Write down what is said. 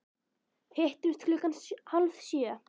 Hittumst klukkan hálf sjö.